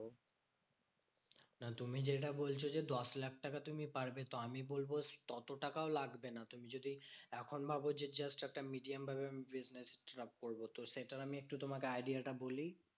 তুমি যেটা বলছো যে দশ লাখ টাকা তুমি পারবে। তো আমি বলবো তত টাকাও লাগবে না। তুমি যদি এখন ভাব যে just একটা medium ভাবে আমি business টা start করবো তো সেটার আমি একটু তোমাকে idea টা বলি?